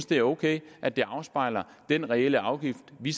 det er ok at det afspejler den reelle afgift vi